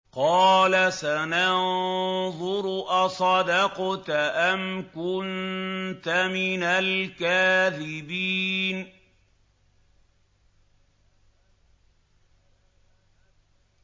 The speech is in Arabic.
۞ قَالَ سَنَنظُرُ أَصَدَقْتَ أَمْ كُنتَ مِنَ الْكَاذِبِينَ